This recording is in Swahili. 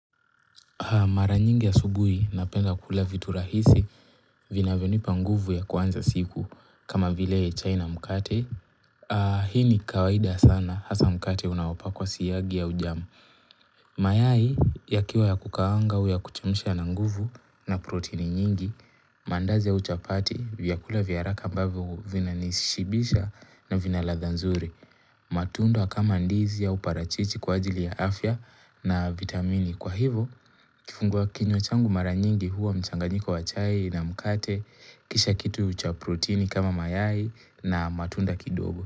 Mara nyingi asubuhi napenda kula vitu rahisi vinavyonipa nguvu ya kuanza siku kama vile chai na mkate. Hii ni kawaida sana hasa mkate unaopakwa siyagi au jam. Mayai yakiwa ya kukaanga au ya kuchemsha na nguvu na protini nyingi, mandazi ya uchapati vyakula vya haraka ambavyo vinanishibisha na vina ladha nzuri. Matundwa kama ndizi au parachichi kwa ajili ya afya na vitamini. Kwa hivo kifungua kinywa changu mara nyingi huwa mchanyiko wa chai na mkate kisha kitu cha proteini kama mayai na matunda kidogo.